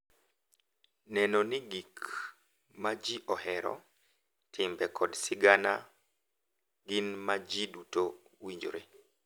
Neno ni gik ma ji ohero, timbe, kod sigana gin ma ji duto winjore.